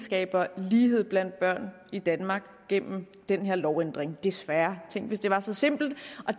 skaber lighed blandt børn i danmark gennem den her lovændring desværre tænk hvis det var så simpelt